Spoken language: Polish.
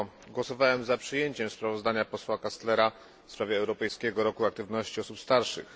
Głosowałem za przyjęciem sprawozdania posła Kastlera w sprawie europejskiego roku aktywności osób starszych.